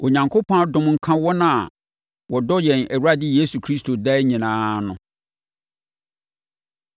Onyankopɔn adom nka wɔn a wɔdɔ yɛn Awurade Yesu Kristo daa nyinaa no.